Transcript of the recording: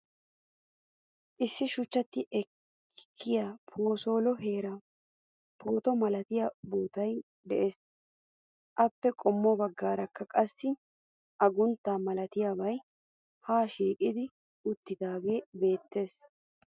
Issi shuchchati ekkiua boosole heeran puutto malatiya booottay de'ees. Appe qommo baggaaraka qassi aguntta malatiyaabay ha shiiqo uttidaagee beettees .